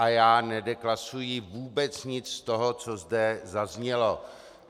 A já nedeklasuji vůbec nic z toho, co zde zaznělo.